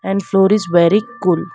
and floor is very cool.